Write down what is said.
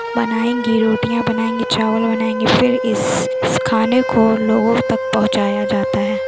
बनाएंगे रोटियां बनायेंगे चावल बनाएंगे फिर इस-इस खाने को लोगो तक पहुचाया जाता है।